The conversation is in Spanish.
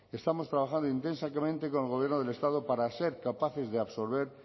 estamos trabajando intensamente con el gobierno del estado para ser capaces de absorber